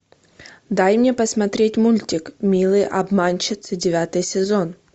дай мне посмотреть мультик милые обманщицы девятый сезон